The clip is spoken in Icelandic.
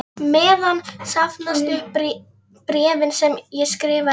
meðan safnast upp bréfin sem ég skrifa þér.